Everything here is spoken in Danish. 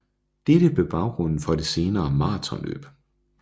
Dette blev baggrunden for det senere marathonløb